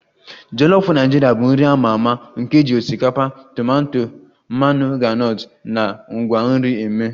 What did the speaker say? Jolof Naijiria bụ nri a ma ama nke e ji osikapa, tomato, mmanụ groundnut na ngwa nri mee